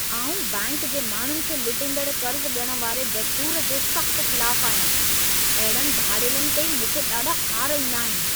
आउं, बैंक जे माण्हुनि खे लुटींदड़ु कर्ज़ ॾियण वारे दस्तूर जे सख़्तु ख़िलाफ़ु आहियां। अहिड़नि धाड़ेलनि ते मूंखे ॾाढा ख़ार ईंदा आहिनि।